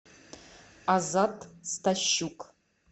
азат стащук